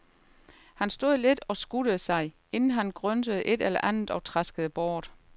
Han stod lidt og skuttede sig, inden han gryntede et eller andet og traskede bort.